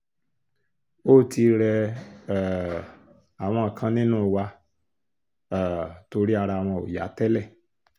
ó ti rẹ um àwọn kan nínú wa um torí ara wọn ò yá tẹ́lẹ̀